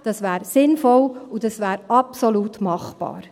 Das wäre sinnvoll, und das wäre absolut machbar.